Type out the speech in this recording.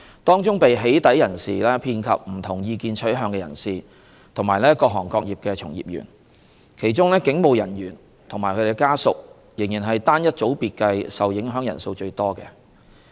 當中被"起底"人士遍及不同意見取向的人士和各行各業的從業員，其中警務人員及其家屬仍是單一組別計受影響人數最多的。